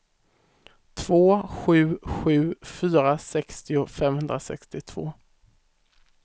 två sju sju fyra sextio femhundrasextiotvå